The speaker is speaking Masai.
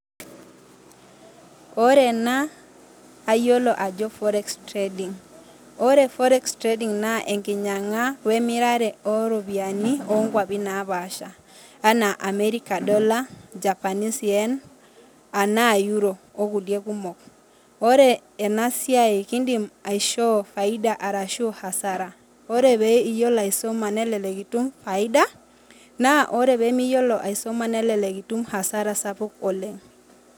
Ore ena naa ayiolo ajo forex trading ore forex trading naa enkinyang'a we emirare oo iropiani oo nkwapi napaasha anaa American dollar, japanese yen ana euros o kulie kumok ore ena siai kindim aishoo faida arashu hasara ore pee iyiolo aisuma nelelek itum faida naa ore pee miyolo nelelek itum hazara sapuk oleng'